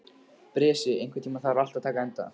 Bresi, einhvern tímann þarf allt að taka enda.